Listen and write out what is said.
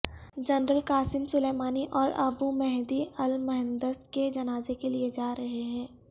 general Qasem Soleimani اور Abu Mahdi al Muhandis کے جنازے لے جائے جا رہے ہیں